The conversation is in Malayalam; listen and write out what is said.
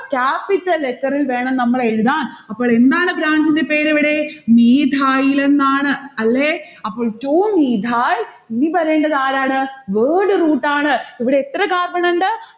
capital letter ൽ വേണം നമ്മൾ എഴുതാൻ. അപ്പോളെന്താണ് branch ന്റെ പേർ ഇവിടെ? methyl ലെന്നാണ് അല്ലെ? അപ്പോൾ two methyl ഇനി വരേണ്ടത് ആരാണ്? word root ആണ്. ഇവിടെ എത്ര carbon ഉണ്ട്?